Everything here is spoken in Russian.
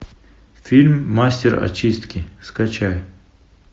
фильм мастер очистки скачай